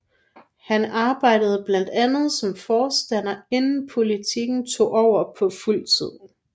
Han arbejdede blandt andet som forstander inden politikken tog over på fuld tid